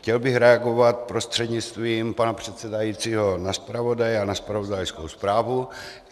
Chtěl bych reagovat prostřednictvím pana předsedajícího na zpravodaje a na zpravodajskou zprávu.